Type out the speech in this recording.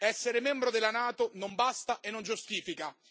Essere membro della NATO non basta e non giustifica.